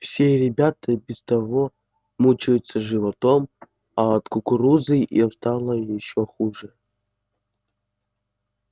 все ребята и без того мучаются животом а от кукурузы им стало ещё хуже